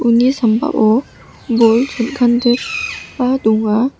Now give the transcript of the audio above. uni sambao bol chon·kandikba donga.